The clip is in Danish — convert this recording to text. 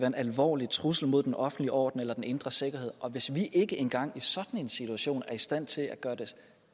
en alvorlig trussel mod den offentlige orden eller den indre sikkerhed og hvis vi ikke engang sådan en situation er i stand til gøre det